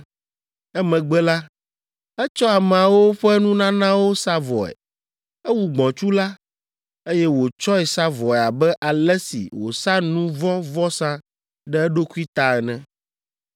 Emegbe la, etsɔ ameawo ƒe nunanawo sa vɔe. Ewu gbɔ̃tsu la, eye wòtsɔe sa vɔe abe ale si wòsa nu vɔ̃ vɔsa ɖe eɖokui ta ene.